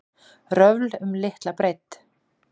Röfl um litla breidd